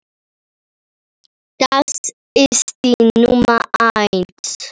Það er númer eitt.